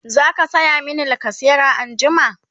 zaka saya mini lacasera anjima?